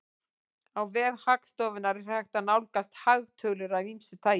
Á vef Hagstofunnar er hægt að nálgast hagtölur af ýmsu tagi.